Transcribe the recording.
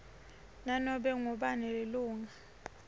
nanobe ngubani lilunga